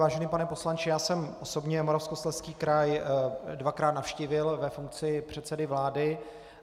Vážený pane poslanče, já jsem osobně Moravskoslezský kraj dvakrát navštívil ve funkci předsedy vlády.